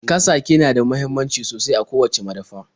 Kasake na da muhimmanci sosai a kowacce madafa.